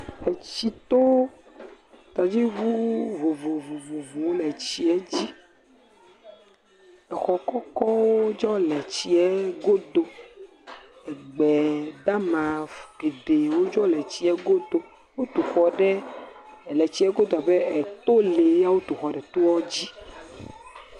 Etsito, tɔdziŋu vovovowo le tsiɛ dzi. exɔ kɔkɔwo tsɛ le tsiɛ godo. Egbedama fu geɖewo tsɛ le tsiɛ godo. Wotu xɔ ɖe le tsiɛ godo le abe ɛɛ to le yɛ wotu xɔ ɖe toɔ dzi.